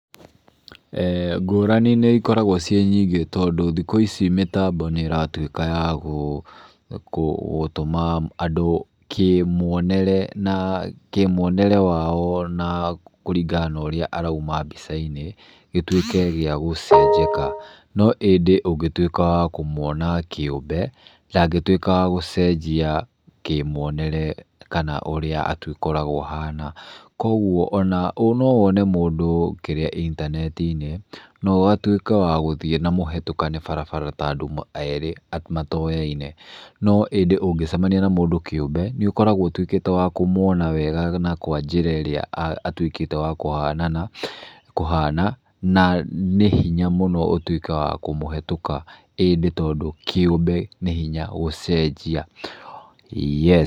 Ngũrani nĩikoragwo ciĩ nyingĩ tondũ thikũ ici mĩtambo nĩĩratuĩka yagũ kũtũma andũ kĩmwonere na wao na kũringana na ũrĩa arauma mbica-inĩ gĩtuĩke gĩa gũcenjeka. Noĩndĩ ũngĩtuĩka wa kũmwona kĩũmbe ndangĩtuĩka wagũcenjia kĩmwonere kana ũrĩa kana ũrĩa agĩkoragwo ahana. Kuogwo ona nowene mũndũ kĩrĩa intanenti-inĩ noũtuĩke wagũthiĩ na mũhetũkane barabara ta andũ erĩ matoyaine, no ĩndĩ ũngĩcamania na mũndũ kĩũmbe, nĩũkoragwo ũtuĩkĩte wa kũmwona wega na kwa njĩra ĩrĩa atuĩkĩte wa kũhanana, kũhana, na nĩhinya mũno ũtuĩke wa kũmũhatũka ĩndĩ tondũ kĩũmbe nĩhinya gũcenjia.